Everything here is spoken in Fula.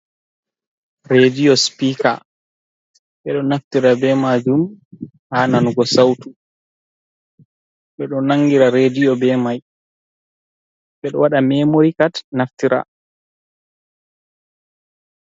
Rediyo spika, ɓeɗo naftira be majum ha nanugo sautu, ɓeɗo nangira rediyo be mai, ɓeɗo waɗa memori kad naftira.